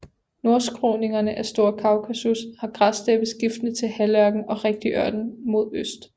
Nordskråningerne af Store Kaukasus har græssteppe skiftende til halvørken og rigtig ørken mod øst